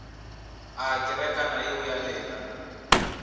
a kerekana yeo ya lena